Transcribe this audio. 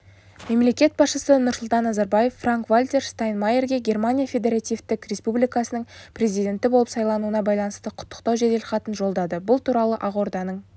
мемлекет басшысы нұрсұлтан назарбаев франк-вальтер штайнмайерге германия федеративтік республикасының президенті болып сайлануына байланысты құттықтау жеделхатын жолдады бұл туралы ақорданың